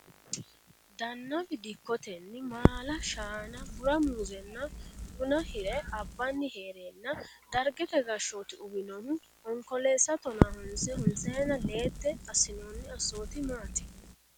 Dannawi dikkotenni maala, shaana, bura muuzenna buna hire abbani heerena dargete Gashshooti uwinohu Onkoleessa tonahonse honsayina leete assinoni assoti maati?